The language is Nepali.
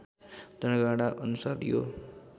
जनगणना अनुसार यो